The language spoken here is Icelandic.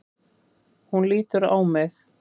Hún lítur á mig.